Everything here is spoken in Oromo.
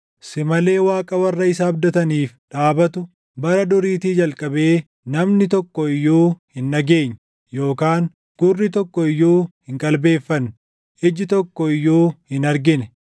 Si malee Waaqa warra isa abdataniif dhaabatu, bara duriitii jalqabee namni tokko iyyuu hin dhageenye; yookaan gurri tokko iyyuu hin qalbeeffanne; iji tokko iyyuu hin argine.